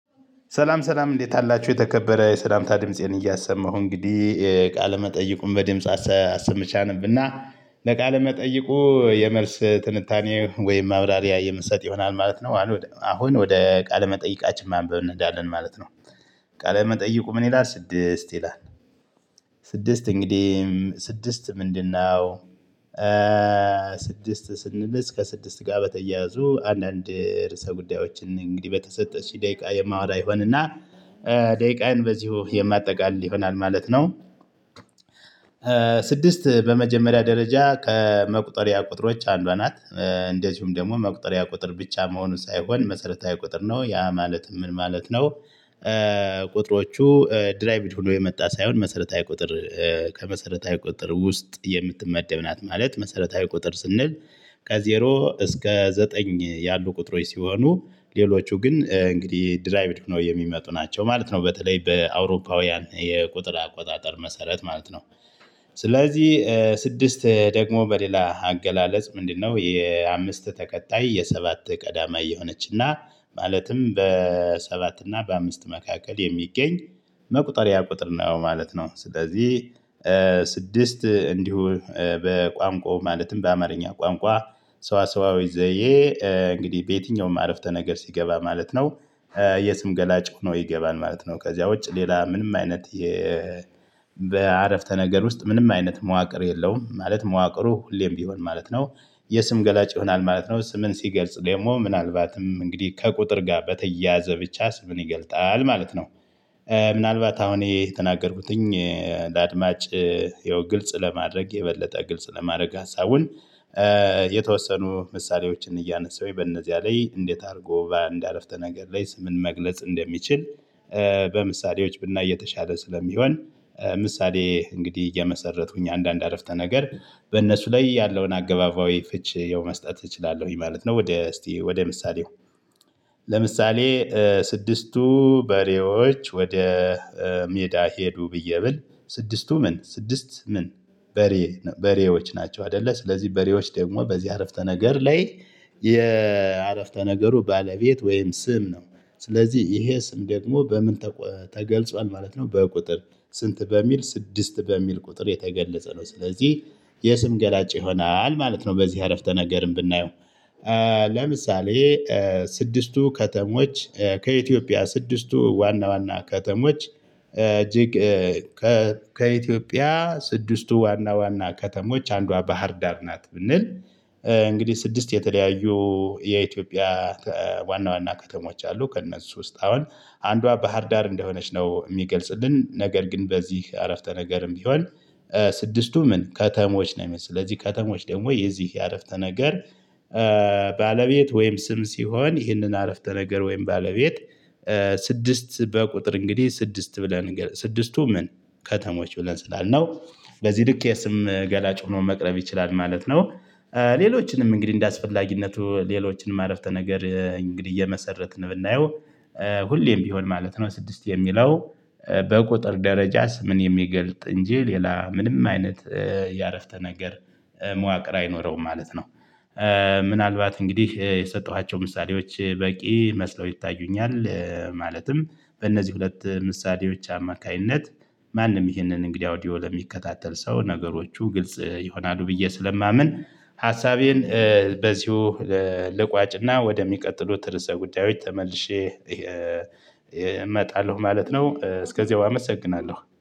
ሰላም ሰላም እንዴት አላችሁ የተከበረ የሰላምታ ድምፄን እያሰማሁ እንግዲህ ቃለመጠይቁን በድምጽ አሰመቸ አንብና ለቃለ መጠይቁ የመልስ ትንታኔ ወይም ማብራሪያ የምሰጥ ይሆናል ማለት ነው አሁን ወደ ቃለ መጠይቃችን ማንበብ እንሄዳለን ማለት ነው። ቃለ መጠይቁ ምን ይላል ስድስት ይላል። ስድስት እንግዲህ ስድስት ምንድነው? ስድስት ስንል ከስድስት ጋ በተያያዙ አንዳንድ ርዕሰ ጉዳዮችን እንግዲህ በተሰጠችኝ ደቂቃ የማወራ እሆንና ደይቃን በዚሁ የማጠቃልል ይሆናል ማለት ነው። ስድስት በመጀመሪያ ደረጃ ከመቁጠሪያ ቁጥሮች አንዷ ናት። እንደዚሁም ደግሞ መቁጠሪያ ቁጥር ብቻ መሆኑን ሳይሆን መሰረታዊ ቁጥር ነው ያ ማለት ምን ማለት ነው? ቁጥሮቹ ድራይቭድ ሁሉ የመጣ ሳይሆን መሰረታዊ ቁጥር ከመሰረታዊ ቁጥር ውስጥ የምትመደብ ናት ማለት መሰረታዊ ቁጥር ስንል ከዜሮ እስከ ዘጠኝ ያሉ ቁጥሮች ሲሆኑ ሌሎቹ ግን እንግዲህ ድራይቭድ ሆኖ የሚመጡ ናቸው ማለት ነው በተለይ በአውሮፓውያን የቁጥር አቆጣጠር መሰረት ማለት ነው። ስለዚህ ስድስት ደግሞ በሌላ አገላለጽ ምንድነው የአምስት ተከታይ የሰባት ቀዳማይ የሆነችና ማለትም በሰባት እና በአምስት መካከል የሚገኝ መቁጠሪያ ቁጥር ነው ማለት ነው። ስለዚህ ስድስት እንዲሁ በቋንቋው ማለትም በአማርኛ ቋንቋ ሰዋሰዋዊ ዘዬ እንግዲህ በየትኛውም አረፍተ ነገር ሲገባ ማለት ነው። የስም ገላጭ ሆኖ ይገባን ማለት ነው። ከዚያ ውጭ ሌላ ምንም አይነት የ በአረፍተ ነገር ውስጥ ምንም አይነት መዋቅር የለውም ማለት መዋቅሩ ሁሌም ቢሆን ማለት ነው። የስም ገላጭ ይሆናል ማለት ነው ስምን ሲገልጽ ደግሞ ምናልባትም እንግዲህ ከቁጥር ጋር በተያያዘ ብቻ ስምን ይገልጣል ማለት ነው። ምናልባት አሁን ይሄ የተናገርኩትኝ ለአድማጭ የው ግልጽ ለማድረግ የበለጠ ግልጽ ለማድረግ ሀሳቡን። የተወሰኑ ምሳሌዎችን እያነሳሁኝ በእነዚያ ላይ እንዴት አድርጎ ባንድ አረፍተ ነገር ላይ ስምን መግለጽ እንደሚችል በምሳሌዎች ብናይ የተሻለ ስለሚሆን። ምሳሌ እንግዲህ እየመሰረትኩኝ አንዳንድ አረፍተ ነገር በእነሱ ላይ ያለውን አገባባዊ ፍችዬው መስጠት እችላለሁኝ ማለት ነው። ወደ እስቲ ወደ ምሳሌው ስድስቱ በሬዎች ወደ ሜዳ ሄዱ ብዬ ብል ስድስቱ ምን ስድስት ምን? በሬ በሬዎች ናቸው አደለ ስለዚህ በሬዎች ደግሞ በዚህ አረፍተ ነገር ላይ የአረፍተ ነገሩ ባለቤት ወይም ስም ነው። ስለዚህ ይሄ ስም ደግሞ በምን ተገልጿል ማለት ነው። በቁጥር ስንት በሚል ስድስት በሚል ቁጥር የተገለጸ ነው ስለዚህ የስም ገላጭ ይሆናል ማለት ነው። በዚህ አረፍተ ነገርም ብናየው ለምሳሌ ስድስቱ ከተሞች ከኢትዮጵያ ስድስቱ ዋና ዋና ከተሞች እጅግ ከኢትዮጵያ ስድስቱ ዋና ዋና ከተሞች አንዷ ባህርዳር ናት ብንል። እንግዲህ ስድስት የተለያዩ የኢትዮጵያ ዋና ዋና ከተሞች አሉ ከእነሱ ውስጥ አሁን አንዷ ባህር ዳር እንደሆነች ነው ሚገልጽልን ነገር ግን በዚህ አረፍተ ነገርም ቢሆን። ስድስቱ ምን ከተሞች ነው ሚል ስለዚህ ከተሞች ደግሞ የዚህ የአረፍተ ነገር ባለቤት ወይም ስም ሲሆን ይህንን አረፍተ ነገር ወይም ባለቤት ስድስት በቁጥር እንግዲህ ስድስት ብለን ስድስቱ ምን ከተሞች ብለን ስላልነው በዚህ ልክ የስም ገላጭ ሆኖ መቅረብ ይችላል ማለት ነው። ሌሎችንም እንግዲህ እንደአስፈላጊነቱ ሌሎችንም አረፍተ ነገር እንግዲህ እየመሰረትን ብናየው። ሁሌም ቢሆን ማለት ነው ስድስት የሚለው በቁጥር ደረጃ ስምን የሚገልጥ እንጂ ሌላ ምንም አይነት ያረፍተ ነገር መዋቅር አይኖረውም ማለት ነው። ምናልባት እንግዲህ የሰጠኋቸው ምሳሌዎች በቂ መስለው ይታዩኛል ማለትም በእነዚህ ሁለት ምሳሌዎች አማካይነት ማንም ይህንን እንግዲህ አውዲዮ ለሚከታተል ሰው ነገሮቹ ግልጽ ይሆናሉ ብዬ ስለማምን። ሀሳቤን በዚሁ ልቋጭና ወደሚቀጥሉት ርዕሰ ጉዳዮች ተመልሼ እመጣለሁ ማለት ነው። እስከዚያው አመሰግናለሁ